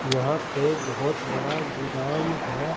यहां पे बहोत बड़ा गोदाम है।